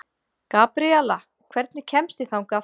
Gabriela, hvernig kemst ég þangað?